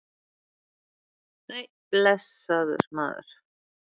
Nei, blessaður, maður.